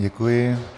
Děkuji.